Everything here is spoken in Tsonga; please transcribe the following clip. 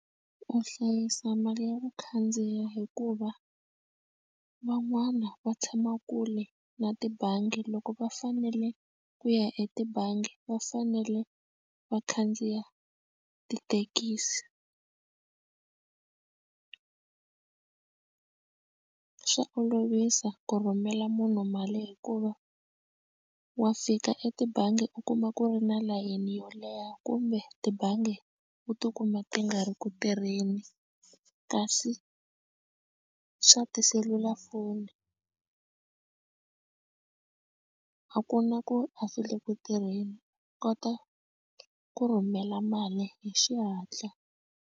U hlayisa mali ya ku khandziya hikuva van'wana va tshama kule na tibangi loko va fanele ku ya etibangi va fanele va khandziya tithekisi swa olovisa ku rhumela munhu mali hikuva wa fika etibangi u kuma ku ri na layeni yo leha kumbe tibangi u tikuma ti nga ri ku tirheni kasi swa tiselulafoni a ku na ku a swi le ku tirheni u kota ku rhumela mali hi xihatla.